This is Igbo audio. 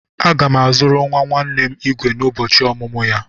Aga m azụrụ nwa nwanne m igwe n'ụbọchị ọmụmụ ya.